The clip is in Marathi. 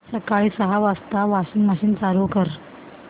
सकाळी सहा वाजता वॉशिंग मशीन चालू कर